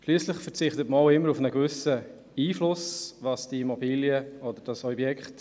Schliesslich verzichtet man stets auch auf einen gewissen Einfluss auf das Objekt.